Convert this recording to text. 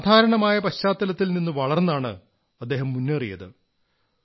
വളരെ സാധാരണമായ പശ്ചാത്തലത്തിൽ നിന്നു വളർന്നാണ് അദ്ദേഹം മുന്നേറിയത്